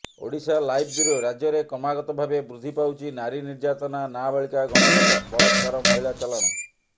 Odisha live bureau ରାଜ୍ୟରେ କ୍ରମାଗତ ଭାବେ ବୃଦ୍ଧି ପାଉଛି ନାରୀ ନିର୍ଯ୍ୟାତନା ନାବାଳିକା ଗଣ ବଳାତ୍କାର ମହିଳା ଚାଲାଣ